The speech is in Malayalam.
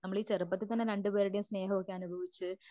നമ്മൾ ഈ ചെറുപ്പത്തിൽ തന്നെ രണ്ടുപേരുടെ സ്നേഹവുമൊക്കെ അനുഭവിച്ച്